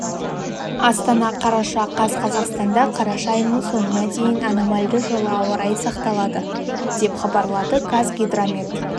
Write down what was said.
астана қараша қаз қазақстанда қараша айының соңына дейін аномальды жылы ауа райы сақталады деп хабарлады қазгидромет